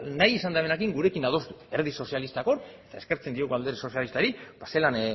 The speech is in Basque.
nahi izan duenarekin gurekin adostu alderdi sozialistak hor eta eskertzen diegu alderdi sozialistari zelan